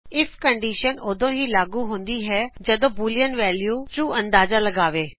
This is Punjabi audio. ਆਈਐਫ ਕਨਡੀਸ਼ਨ ਕੇਵਲ ਉਦੋ ਹੀ ਲਾਗੂ ਹੁੰਦੀ ਹੈਜਦ ਬੂਲੀਅਨ ਵੈਲਿਯੂਸ ਟਰੂ ਅੰਦਾਜਾ ਲਗਾਵੇ